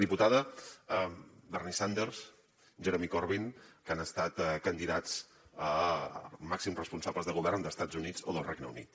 diputada bernie sanders jeremy corbyn que han estat candidats a màxims responsables de govern d’estats units o del regne unit